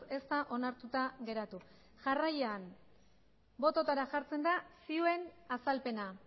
ez da onartuta geratu jarraian botoetara jartzen da zioen azalpena